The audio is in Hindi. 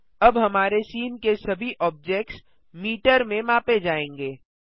अब हमारे सीन के सभी ऑब्जेक्ट्स मीटर में मापे जायेंगे